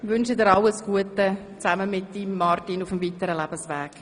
Ich wünsche dir zusammen mit deinem Mann Martin alles Gute auf dem weiteren Lebensweg.